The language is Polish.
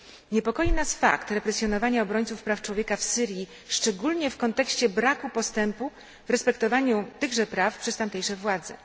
Niepokoi nas fakt represjonowania obrońców praw człowieka w Syrii, szczególnie w kontekście braku postępu w respektowaniu tychże praw przez tamtejsze władze.